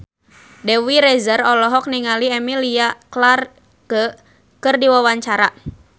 Dewi Rezer olohok ningali Emilia Clarke keur diwawancara